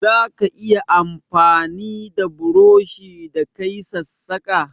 Zaka iya amfani da burushi ka yi sassaƙa?